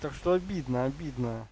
так что обидно обидно